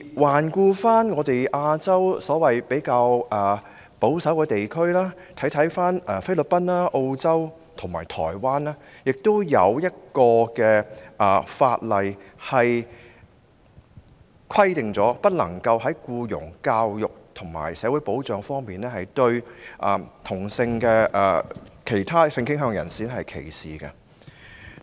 環顧亞洲所謂較保守的地區，例如菲律賓、澳洲和台灣，當地亦已制定法例規定不能夠在僱傭、教育和社會保障方面歧視同性戀或其他性傾向人士。